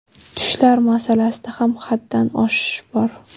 Tushlar masalasida ham haddan oshish bor.